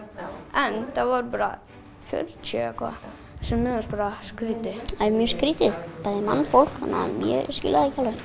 en það voru bara fjörutíu eða eitthvað sem mér fannst bara skrítið það er mjög skrítið bæði mannfólk þannig að ég skil það ekki alveg